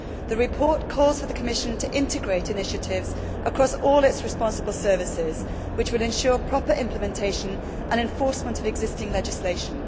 The report calls for the Commission to integrate initiatives across all its responsible services, which will ensure proper implementation and enforcement of existing legislation.